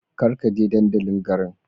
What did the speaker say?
Kar ka je dandalin garin.